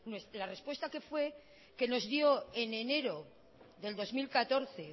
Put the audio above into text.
la respuesta que fue que nos dio en enero de dos mil catorce